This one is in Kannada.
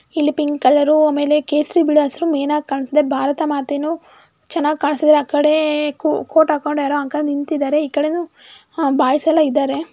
ಇಲ್ಲಿ ಪಿಂಕ್ ಕಲರು ಆಮೇಲೆ ಕೇಸರಿ ಬಿಳಿ ಹಸಿರು ಮೇನ್ ಆಗಿ ಕಾಣ್ಸುತ್ತೆ ಭಾರತ ಮಾತೇನೂ ಚೆನ್ನಾಗಿ ಕಾಣ್ಸುತ್ತೆ ಆಕಡೆ ಕೋಟ್ ಹಾಕೊಂಡು ಯಾರೋ ಅಂಕಲ್ ನಿಂತ್ತಿದ್ದಾರೆ ಈ ಕಡೆನೂ ಹಾಂ ಬಾಯ್ಸ್ ಎಲ್ಲಾ ಇದ್ದಾರೆ.